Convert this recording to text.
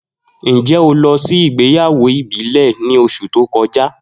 Njẹ o lọ si igbeyawo ibile ni oṣu to kọja?